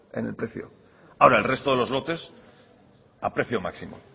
en el precio ahora el resto de los lotes a precio máximo